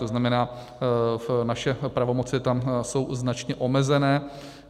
To znamená, naše pravomoci tam jsou značně omezené.